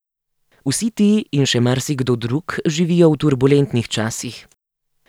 Vsi ti in še marsikdo drug živijo v turbulentnih časih.